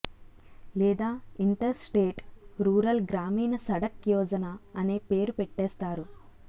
లేదా inter state rural గ్రామీణ సడక్ యోజన అనే పేరు పెట్టేస్తారు